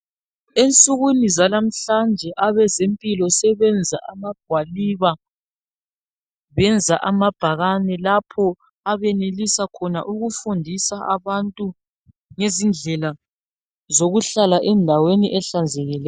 Ensukwini zalamhlanje ebezempilo sebenza amagwaliba ,benza amabhakane lapho abenelisa khona ukufundisa abantu ngezindlela zokuhlala endaweni ehlanzekileyo .